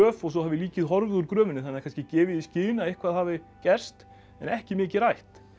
og svo hafi líkið horfið úr gröfinni það er kannski gefið í skyn að eitthvað hafi gerst en ekki mikið rætt